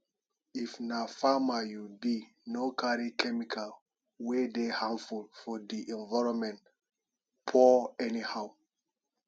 if na farmer you be no carry chemical wey dey harmful for di environment pour everywhere